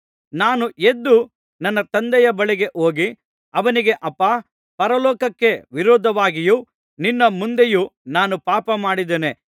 ನಾನು ಎದ್ದು ನನ್ನ ತಂದೆಯ ಬಳಿಗೆ ಹೋಗಿ ಅವನಿಗೆ ಅಪ್ಪಾ ಪರಲೋಕಕ್ಕೆ ವಿರೋಧವಾಗಿಯೂ ನಿನ್ನ ಮುಂದೆಯೂ ನಾನು ಪಾಪ ಮಾಡಿದ್ದೇನೆ